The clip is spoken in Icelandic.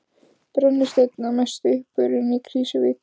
Brennisteinn að mestu uppurinn í Krýsuvík.